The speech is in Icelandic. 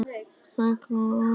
Fuglar fara á flug.